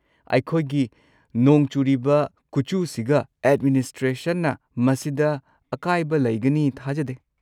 ꯑꯩꯈꯣꯏꯒꯤ ꯅꯣꯡ ꯆꯨꯔꯤꯕ ꯈꯨꯆꯨꯁꯤꯒ ꯑꯦꯗꯃꯤꯅꯤꯁꯇ꯭ꯔꯦꯁꯟꯅ ꯃꯁꯤꯗ ꯑꯀꯥꯏꯕ ꯂꯩꯒꯅꯤ ꯊꯥꯖꯗꯦ꯫